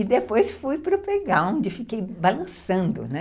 E depois fui para o playground e fiquei balançando, né?